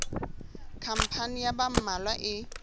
khampani ya ba mmalwa e